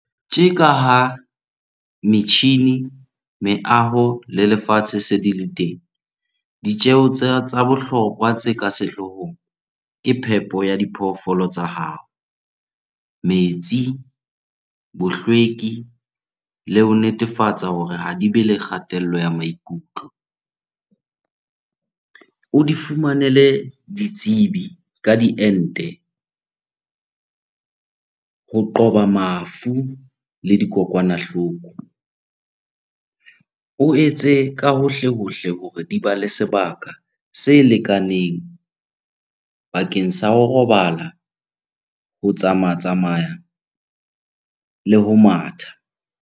Tje ka ha metjhini, meaho le lefatshe se di le teng, ditjeho tsa bohlokwa tse ka sehloohong ke phepo ya diphoofolo tsa hao. Metsi, bohlweki le ho netefatsa hore ha di bele kgatello ya maikutlo. O di fumanele ditsebi ka diente ho qoba mafu le dikokwanahloko. O etse ka hohle-hohle hore di ba le sebaka se lekaneng bakeng sa ho robala, ho tsama-tsamaya le ho matha.